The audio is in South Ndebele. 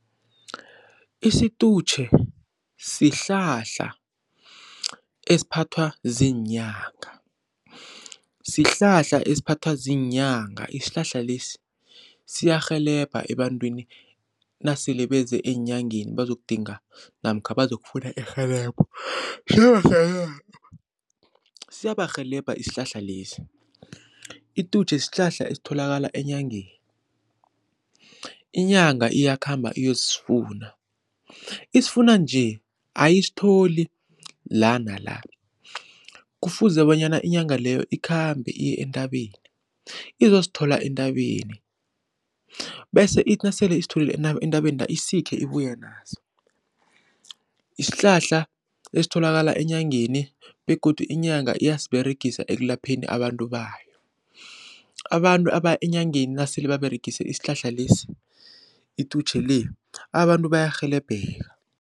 Isitutjhe sihlahla esiphathwa ziinyanga, sihlahla esiphathwa ziinyanga isihlahla lesi siyarhelebha ebantwini nasele beze eenyangeni bazokudinga namkha bazokufuna irhelebho siyarhelebha isihlahla lesi. Itutjhe sihlahla esitholakala enyangeni, inyanga iyakhamba iyosifuna, isifuna nje ayisitholi la nala, kufuze bonyana inyanga leyo ikhambe iye entabeni izosithola entabeni bese ithi nasele isitholile entabeni la isikhe ibuye naso. Isihlahla esitholakala enyangeni begodu inyanga iyasiberegisa ekulapheni abantu bayo, abantu abaya enyangeni nasele baberegise isihlahla lesi itutjhe le abantu bayarhelebheka.